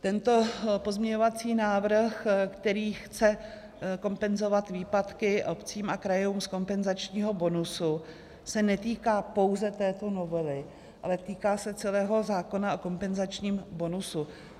Tento pozměňovací návrh, který chce kompenzovat výpadky obcím a krajům z kompenzačního bonusu, se netýká pouze této novely, ale týká se celého zákona o kompenzačním bonusu.